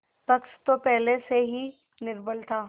पक्ष तो पहले से ही निर्बल था